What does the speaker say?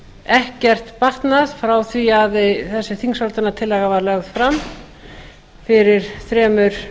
ekkert batnað frá því að þessi þingsályktunartillaga var lögð fram fyrir þremur